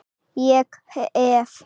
Ég hef.